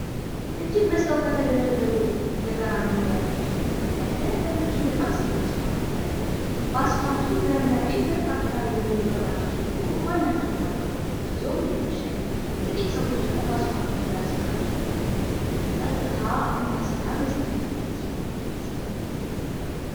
እጅግ በዝተው ከተደረደሩ የጋራ መኖሪያ ቤቶች ፊት ለፊት ያለ ረጅም በጣም ሰፋፊ አስፋልት ይታያል። በአስፋልቱ ግራና ቀኝ ብዙ መብራቶች ቢኖሩም ማናቸውም አልበሩም። ጊዜውም እየመሸ ነው። ጥቂት ሰዎች ደግሞ በአስፋልቱ ግራ ሲራመዱ እናያለን። ጸጥታና ሰላም የሰፈነበት አስፋልት ይመስላል።